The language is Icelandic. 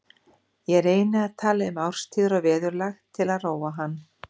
Ég reyni að tala um árstíðir og veðurlag til að róa hann.